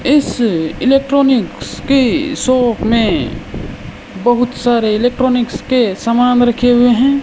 इस इलेक्ट्रॉनिक्स के शॉप में बहुत सारे इलेक्ट्रॉनिक्स के सामान रखे हुए हैं।